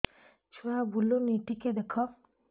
ଛୁଆ ବୁଲୁନି ଟିକେ ଦେଖ